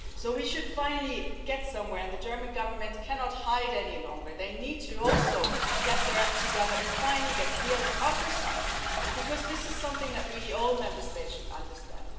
So we should finally get somewhere and the German Government cannot hide any longer. They also need to get their act together, finally get real and offer something, because this is something that all Member States should understand.